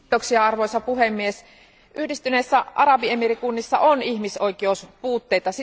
Arvoisa puhemies, Yhdistyneissä arabiemiirikunnissa on ihmisoikeuspuutteita.